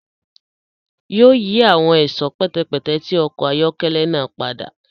Yóò yì awọn ẹṣọ pẹtẹpẹtẹ ti ọkọ ayọkẹlẹ náà pada